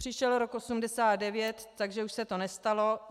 Přišel rok 1989, takže už se to nestalo.